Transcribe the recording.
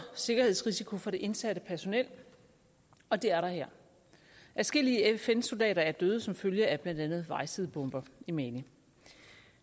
sikkerhedsrisiko for det indsatte personel og det er der her adskillige fn soldater er blevet dræbt som følge af blandt andet vejsidebomber i mali